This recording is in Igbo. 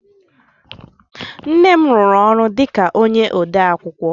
Nne m rụrụ ọrụ dịka onye odeakwụkwọ